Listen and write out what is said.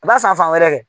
A b'a san fan wɛrɛ kɛ